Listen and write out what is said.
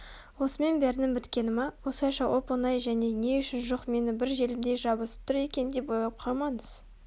осымен бәрінің біткені ма осылайша оп-оңай және не үшін жоқ мені бір желімдей жабысып тұр екен деп ойлап қалмаңыз